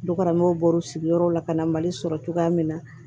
Dukɔnɔmɔgɔw bɔr'u sigiyɔrɔw la ka na mali sɔrɔ cogoya min na